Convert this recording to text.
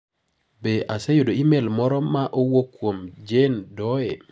Be aseyudo imel moro ma owuok kuom jane doe?